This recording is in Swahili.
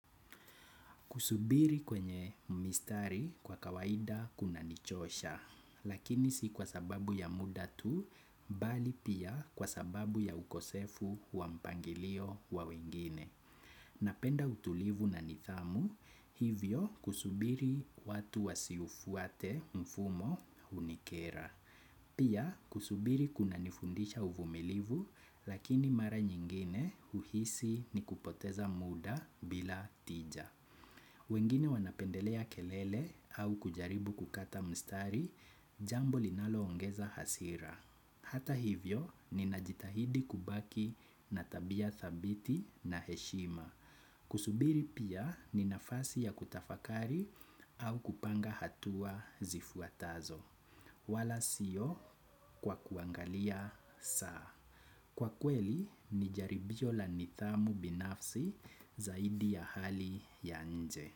Kusubiri kwenye mistari kwa kawaida kunanichosha, lakini si kwa sababu ya muda tu, bali pia kwa sababu ya ukosefu wa mpangilio wa wengine. Napenda utulivu na nidhamu, hivyo kusubiri watu wasiufuate mfumo hunikera. Pia kusubiri kunanifundisha uvumilivu, lakini mara nyingine uhisi ni kupoteza muda bila tija. Wengine wanapendelea kelele, au kujaribu kukata mstari, jambo linaloongeza hasira. Hata hivyo ninajitahidi kubaki na tabia dhabiti, na heshima. Kusubiri pia ni nafasi ya kutafakari au kupanga hatua zifuatazo. Wala sio kwa kuangalia saa. Kwa kweli ni jaribio la nidhamu binafsi zaidi ya hali ya nje.